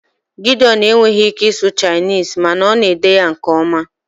Gideon enweghị ike ịsụ Chinese mana ọ na-ede ya nke ọma